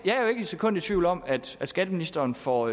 sekund i tvivl om at skatteministeren får